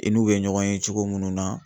I n'u bɛ ɲɔgɔn ye cogo munnu na.